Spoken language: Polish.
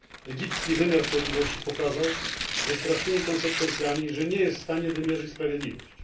Egipski wymiar sprawiedliwości pokazał ze strasznymi konsekwencjami, że nie jest w stanie wymierzać sprawiedliwości.